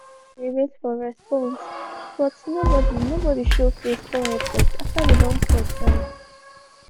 na so we dey wait for response but nobodi nobodi show face kom help us after we don call tire.